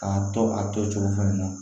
K'a to a tocogo fɛnɛ na